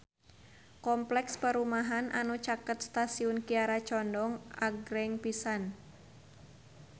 Kompleks perumahan anu caket Stasiun Kiara Condong agreng pisan